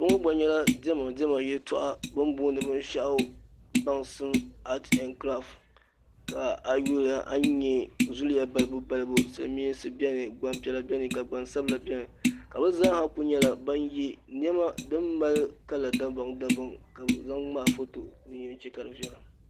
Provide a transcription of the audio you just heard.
kpɛŋɔ gba nyɛla dɛmadɛma ti arɛnkiƒɔ ayuli a nyɛ zuya balibu siliminsi bɛni gbanpiɛlla bɛni gbansabila bɛni ka be zaaha Ku nyɛ ban yɛ nima n mali kala dabamdabam ka be zaŋ ŋmɛi ƒɔto dini yan chɛ ka di viɛla